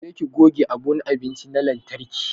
Je ki goge abun abinci na lantarki!